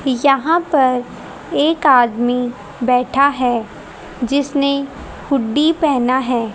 यहां पर एक आदमी बैठा है जिसने हुड्डी पहना है।